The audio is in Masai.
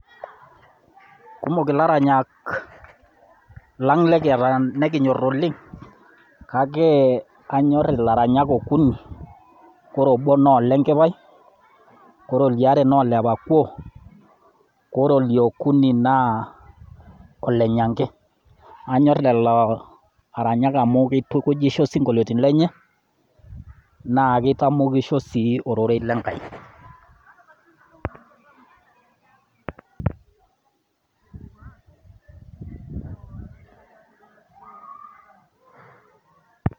kumok, ilaranyak lang' lekiata nekinyor oleng' kake kanyor ilaranyak okuni, ore obo naa ole nkipai ore oliare naa ole pakuo ore oliokuni naa ole nyanke , anyor lelo aranyak amu keitukujisho isinkolioitin lenye naa keitamokisho sii ororei le nkai.